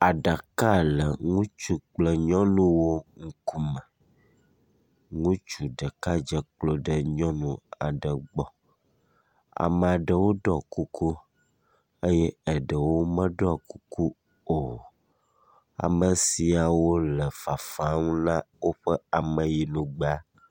Aɖaka le ŋutsu kple nyɔnuwo wo ŋkume, ŋutsu ɖeka dze klo ɖe nyɔnu aɖe gbɔ. Ame aɖewo ɖɔ kuku, eye eɖewo meɖɔ kuku o. ame siawo le fafam ne woƒe ameyinugbea.